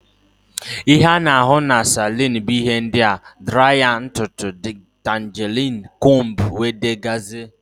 Ihe ana ahụ n' salun bu ihe ndia: draya ntụtụ ,ditanguling combú wdg.